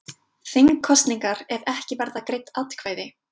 Þingkosningar ef ekki verða greidd atkvæði